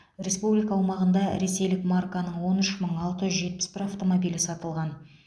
республика аумағында ресейлік марканың он үш мың алты жүз жетпіс бір автомобилі сатылған